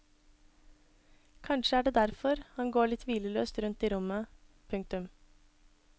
Kanskje er det derfor han går litt hvileløst rundt i rommet. punktum